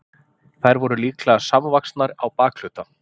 Þær voru líklega samvaxnar á bakhluta.